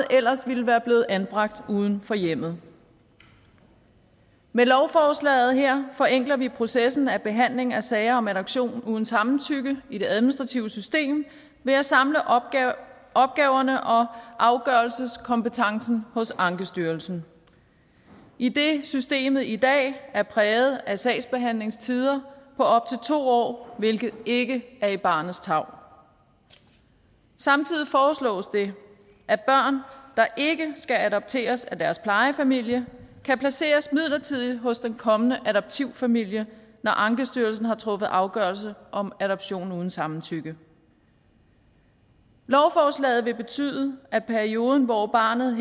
ellers ville være blevet anbragt uden for hjemmet med lovforslaget her forenkler vi processen for behandling af sager om adoption uden samtykke i det administrative system ved at samle opgaverne opgaverne og afgørelseskompetencen hos ankestyrelsen idet systemet i dag er præget af sagsbehandlingstider på op til to år hvilket ikke er i barnets tarv samtidig foreslås det at børn der ikke skal adopteres af deres plejefamilie kan placeres midlertidigt hos den kommende adoptivfamilie når ankestyrelsen har truffet afgørelse om adoption uden samtykke lovforslaget vil betyde at perioden hvor barnet